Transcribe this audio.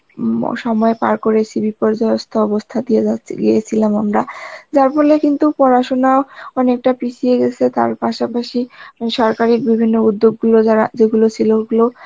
ম~ সময় পার করে এসছি, বিপর্জয়েস্ত অবস্থা যা~ গিয়েছিলাম আমরা যার ফলে কিন্তু পড়াশোনা অনেকটা পিছিয়ে গেছে তার পাসা পাসি সরকারের বিভিন্ন উদ্যোগগুলো যারা যেগুলো ছিল ওগুলোউ